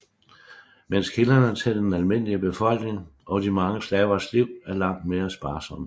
Mens kilderne til den almindelige befolkning og de mange slavers liv er langt mere sparsomme